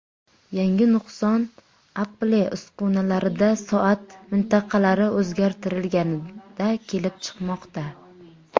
Yangi nuqson Apple uskunalarida soat mintaqalari o‘zgartirilganda kelib chiqmoqda.